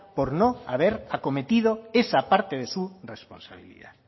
por no haber acometido esa parte de su responsabilidad